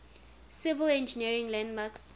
civil engineering landmarks